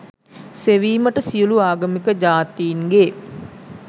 සෙවීමට සියලු ආගමික ජාතීන්ගේ